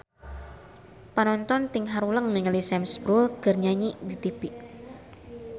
Panonton ting haruleng ningali Sam Spruell keur nyanyi di tipi